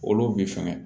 Olu bi sɛgɛn